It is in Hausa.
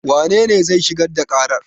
Wanene zai shigar da ƙarar?